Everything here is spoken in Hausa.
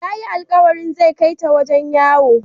Yayi alqawarin zai kaita wajen yawo.